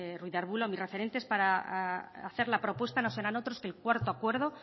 ruiz de arbulo que mis referentes para hacer la propuesta no serán otros que el cuarto acuerdo